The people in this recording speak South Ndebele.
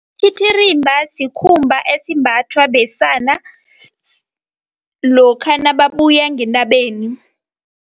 Isititirimba sikhumba esimbathwa besana lokha nababuya ngentabeni.